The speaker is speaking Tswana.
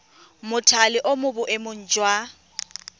mothale o mo boemong jwa